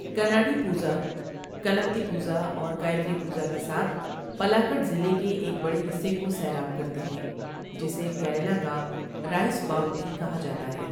کناڈی پوزا کلپتی پوزا اور گایتری پوزا کے ساتھ پلاکڈ ضلعے کے ایک بڑے حصے کو سیراب کرتے ہیں جسے کیرالہ کا 'رائس باؤل' بھی کہا جاتا ہے۔